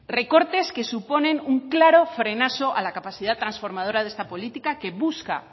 recortes que suponen un claro frenazo a la capacidad transformadora de esta política que busca